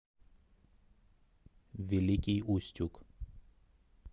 великий устюг